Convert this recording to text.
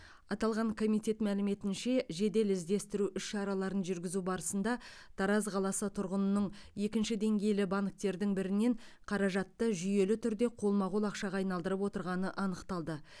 аталған комитет мәліметінше жедел іздестіру іс шараларын жүргізу барысында тараз қаласы тұрғынының екінші деңгейлі банктердің бірінен қаражатты жүйелі түрде қолма қол ақшаға айналдырып отырғаны анықталды